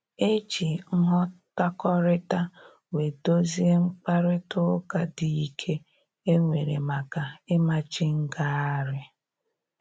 E ji nghọtakọrịta wee dozie mkparịta ụka dị ike e nwere maka ịmachi ngagharị